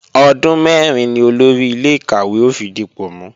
Ọdún mẹ́rin ni Olórí ilé-ìkàwé ó fi dipò mú